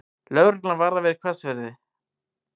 Lögreglan varar við hvassviðri